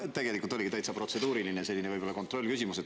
Mul tegelikult oligi täitsa protseduuriline, selline kontrollküsimus.